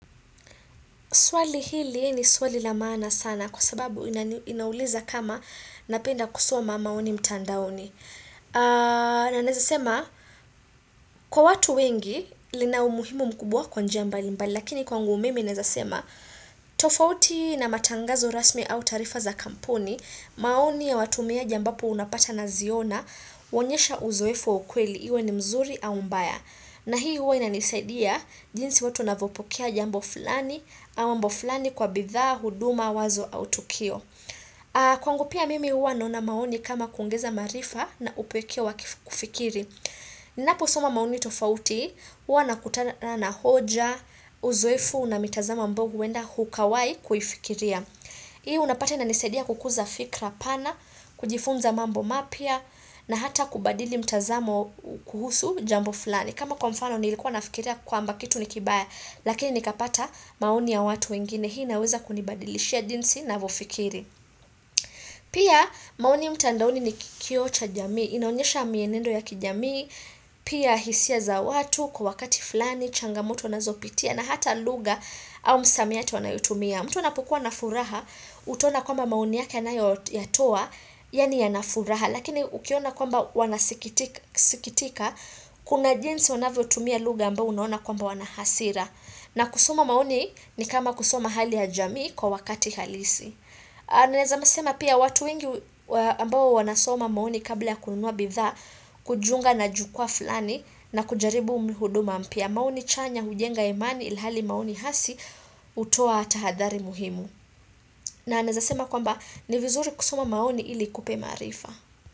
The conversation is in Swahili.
Swali hili ni swali la maana sana kwa sababu inauliza kama napenda kusoma maoni mtandaoni. Na naeza sema kwa watu wengi lina umuhimu mkubwa kwa njia mbali mbali lakini kwa ngu mimi naeza sema tofauti na matangazo rasmi au taarifa za kampuni maoni ya watumia ambapo unapata na ziona uonyesha uzoefu ukweli iwe ni mzuri au mbaya. Na hii uwa inanisaidia jinsi watu wanavopokea jambo fulani, au mambo fulani kwa bidhaa, huduma, wazo, autukio. Kwangu pia mimi uwa naona maoni kama kuongeza maarifa na upekee wakufikiri. Ninaposoma maoni tofauti, uwa na kutana na hoja, uzoefu na mitazama ambao huenda hukawai kuifikiria. Hii unapata ina nisaidia kukuza fikra pana, kujifunza mambo mapya na hata kubadili mtazamo kuhusu jambo fulani. Kama kwa mfano nilikuwa nafikiria kwa mba kitu ni kibaya lakini nikapata maoni ya watu wengine hii naweza kunibadilishia jinsi na vofikiri. Pia maoni mtandaoni ni kioo cha jamii, inaonyesha mienendo ya kijamii, pia hisia za watu kwa wakati fulani, changamoto anazopitia na hata lugha au msamiati wanayotumia. Mtu anapokuwa na furaha, utaona kwamba maoni yake anayo ya toa, yaani a na furaha, lakini ukiona kwamba wanasikitika, kuna jinsi wanavyo tumia lugha ambao unaona kwamba wanahasira. Na kusoma maoni ni kama kusoma hali ya jamii kwa wakati halisi. Na naeza sema pia watu wengi ambao wanasoma maoni kabla ya kununua bidhaa Kujunga na jukwaa fulani na kujaribu huduma mpya maoni chanya hujenga imani ilhali maoni hasi utoa hata hadhari muhimu na naeza sema kwamba ni vizuri kusoma maoni iliikupe maarifa.